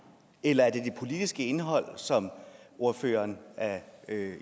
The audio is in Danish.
eller er det det politiske indhold som ordføreren er